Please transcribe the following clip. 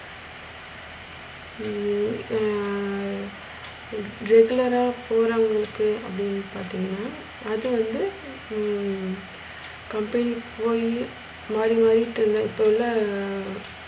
ஹம் ஆஹ் regular அ போறவுங்களுக்கு அப்டின்னு பாத்திங்கனா, அது வந்து ஹம் company போய் மாறி மாரிட்டறத இப்போ எல்லா